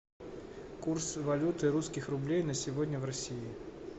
курсы валюты русских рублей на сегодня в россии